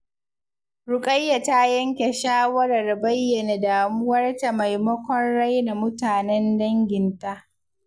Rukayya ta yanke shawarar bayyana damuwarta maimakon raina mutanen danginta.